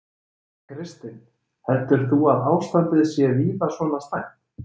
Kristinn: Heldur þú að ástandið sé víða svona slæmt?